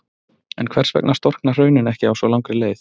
En hvers vegna storkna hraunin ekki á svo langri leið?